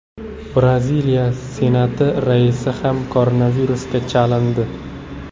Braziliya Senati raisi ham koronavirusga chalindi.